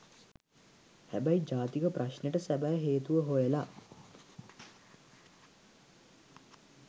හැබැයි ජාතික ප්‍රශ්නෙට සැබෑ හේතුව හොයලා